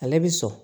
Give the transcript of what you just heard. Ale bi sɔn